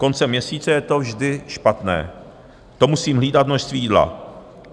Koncem měsíce je to vždy špatné, to musím hlídat množství jídla.